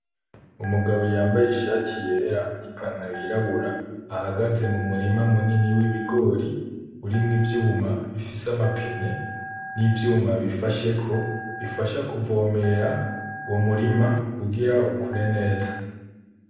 Umugabo yambaye ishati yera n'ipantaro yirabura ahagaze mu murima munini w'ibigori urimwo ivyuma bifise amapine n'ivyuma bifasheko bifasha kuvomera uwo murima kugira ukure neza .